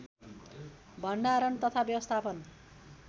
भण्डारण तथा व्यवस्थापन